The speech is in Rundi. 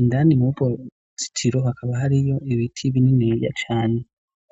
indani mu rpozitiro hakaba hari yo ibiti bininiya Cane.